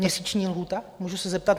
Měsíční lhůta, můžu se zeptat?